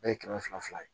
Bɛɛ ye kɛmɛ fila fila ye